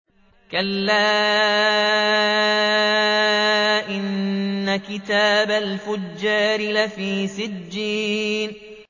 كَلَّا إِنَّ كِتَابَ الْفُجَّارِ لَفِي سِجِّينٍ